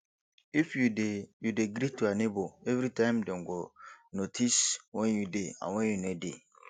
if you de you de greet your neighbour everytime dem go notice when you de and when you no de